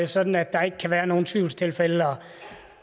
sådan at der ikke kan være nogen tvivlstilfælde